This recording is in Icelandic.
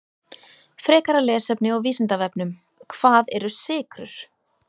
Frekara lesefni á Vísindavefnum: Hvað eru sykrur?